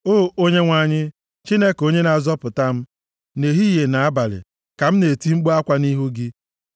O Onyenwe anyị, Chineke onye na-azọpụta m, nʼehihie na abalị ka m na-eti mkpu akwa nʼihu gị.